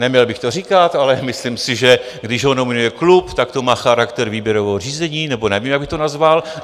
Neměl bych to říkat, ale myslím si, že když ho nominuje klub, tak to má charakter výběrového řízení, nebo nevím, jak bych to nazval.